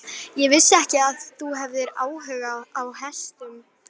Ég vissi ekki að þú hefðir áhuga á hestum.